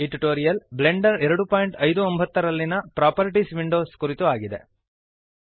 ಈ tutorial Blender 259 ನಲ್ಲಿಯ properties window ಕುರಿತು ಆಗಿದೆ